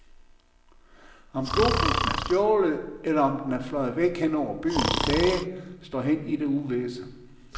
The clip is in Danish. Om globusen er stjålet, eller om den fløj væk hen over byens tage, står hen i det uvisse.